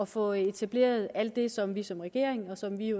få etableret alt det som vi som regering og som vi i